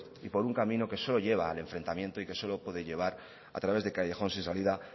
y por un camino que solo lleva al enfrentamiento y que solo puede llevar a través de callejones sin salida